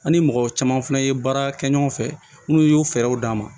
An ni mɔgɔ caman fɛnɛ ye baara kɛ ɲɔgɔn fɛ minnu y'u fɛɛrɛw d'an ma